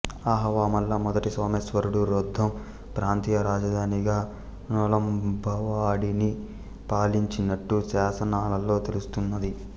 ఆహవమల్ల మొదటి సోమేశ్వరుడు రొద్దం ప్రాంతీయ రాజధానిగా నొళంబవాడిని పాలించినట్టు శాసనాలలో తెలుస్తున్నది